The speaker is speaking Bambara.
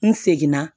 N seginna